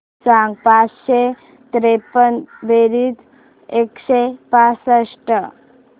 सांग पाचशे त्रेपन्न बेरीज एकशे पासष्ट